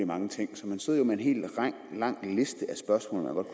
mange ting så man sidder jo med en hel lang liste af spørgsmål